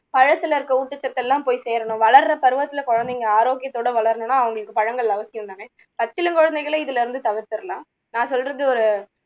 பழத்துல இருக்க ஊட்டச்சத்து எல்லாம் போயி சேரணும் வளருற பருவத்துல குழந்தைங்க ஆரோக்கியத்தோட வளரணும்னா அவங்களுக்கு பழங்கள் அவசியம் தானே பச்சிளம் குழந்தைங்களை இதுல இருந்து தவிர்த்துடலாம் நான் சொல்றது